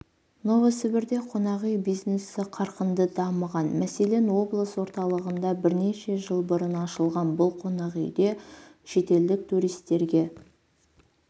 новосібірде қонақүй бизнесі қарқынды дамыған мәселен облыс орталығында бірнеше жыл бұрын ашылған бұл қонақүйде шетелдік туристерге